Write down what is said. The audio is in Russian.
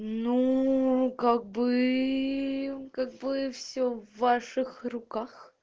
ну как бы как бы все в ваших руках